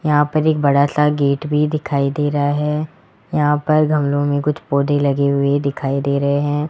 यहां पर एक बड़ा सा गेट भी दिखाई दे रहा है यहां पर गमलों में कुछ पौधे लगे हुए दिखाई दे रहे हैं।